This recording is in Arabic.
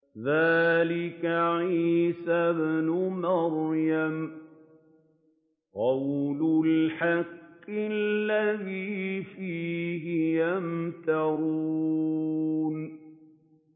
ذَٰلِكَ عِيسَى ابْنُ مَرْيَمَ ۚ قَوْلَ الْحَقِّ الَّذِي فِيهِ يَمْتَرُونَ